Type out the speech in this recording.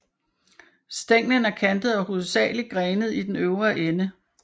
Stænglen er kantet og hovedsagelig grenet i den øvre del